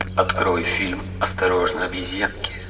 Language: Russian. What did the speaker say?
открой фильм осторожно обезьянки